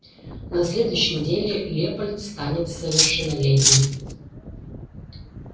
на следующей неделе лепольд станет совершеннолетним